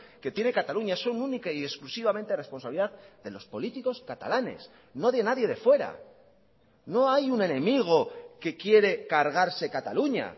que tiene cataluña son única y exclusivamente responsabilidad de los políticos catalanes no de nadie de fuera no hay un enemigo que quiere cargarse cataluña